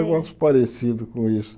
É um negócio parecido com isso.